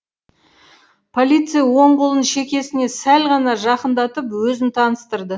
полицей оң қолын шекесіне сәл ғана жақындатып өзін таныстырды